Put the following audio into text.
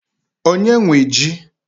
Onye nwe ji?